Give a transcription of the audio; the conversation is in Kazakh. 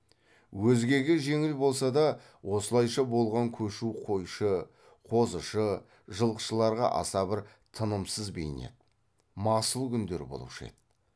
өзгеге жеңіл болса да осылайша болған көшу қойшы қозышы жылқышыларға аса бір тынымсыз бейнет масыл күндер болушы еді